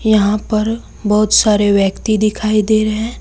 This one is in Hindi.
यहां पर बहुत सारे व्यक्ति दिखाई दे रहे--